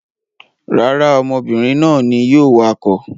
Rárá, ọmọbìnrin náà ni yóò wakọ̀.